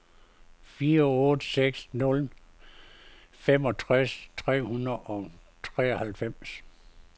fire otte seks nul femogtres tre hundrede og treoghalvfems